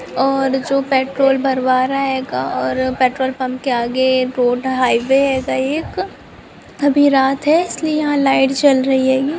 और जो पेट्रोल भरवा रहा हेगा और पेट्रोल पंप के आगे रोड का हाईवे हेगा एक अभी रात है इसलिए यहां लाइट जल रही हेगी।